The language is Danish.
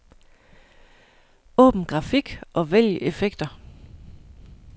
Åbn grafik og vælg effekter.